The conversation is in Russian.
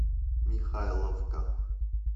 михайловка